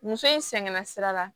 Muso in sɛgɛnna sira la